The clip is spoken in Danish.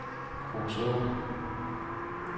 Kruså